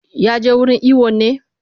Ya je hira wurin iwon ne?